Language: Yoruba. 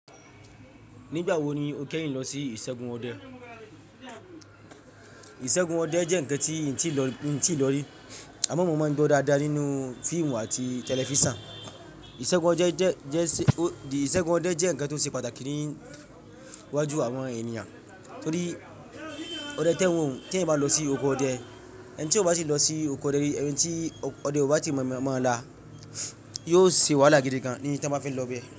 Nígbà wo ni o kẹ́yìn lọ sí ìṣẹ́gun ọdẹ? Ìṣẹ́gun ọdẹ jẹ́ ǹkan tí n ti n tíì lọ rí àmọ́ mo máa ń gbọ́ dáadáa nínú fíìmù àti tẹlifísàn, isegun ode je. Ìṣẹ́gun ọdẹ jẹ́ ǹkan tó ṣe pàtàkì ní wájú àwọn ènìyàn torí ọdẹ tẹ́wọ̀n tí ẹ̀ bá lọ sí oko ọdẹ, ẹni tí ọba ṣe lọ sí oko ọdẹ rí, ẹni tí ọdẹ ò bá tíì mọ̀ ọ́n la yóò se wàhálà gidi gan ní tí wọ́n bá fẹ́ lọ bẹ.